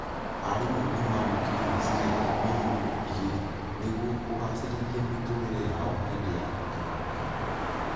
Arimũ nĩmamũkĩrire shiringi mirioni igĩrĩ nĩguo kũgacĩrithia mĩtũrĩre yao hĩndĩ ya kĩng'ũki